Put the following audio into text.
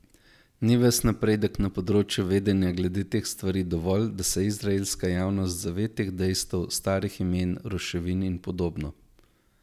Ni ves napredek na področju vedenja glede teh stvari dovolj, da se izraelska javnost zave teh dejstev, starih imen, ruševin in podobno?